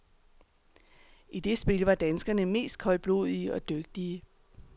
I det spil var danskerne mest koldblodige og dygtige.